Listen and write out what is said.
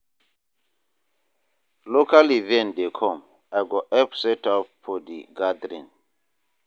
Local event dey come, I go help set up for de gathering.